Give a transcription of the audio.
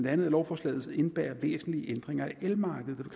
at lovforslaget indebærer væsentlige ændringer af elmarkedet